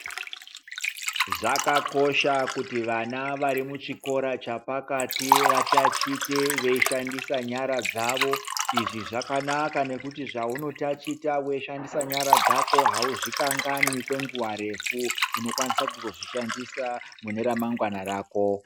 Zvakakosha kuti vana varimuchikora chapakati vatachite veishandisa nyara dzavo izvi zvakanaka ngekuti zvauno tachita weishandisa nyara dzako hauzvikanganwi kwenguva refu unokwanisa kuzozvishandisa mune ramangwana rako.